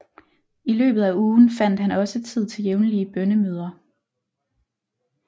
I løbet af ugen fandt han også tid til jævnlige bønnemøder